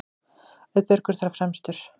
Auðbergur þar fremstur.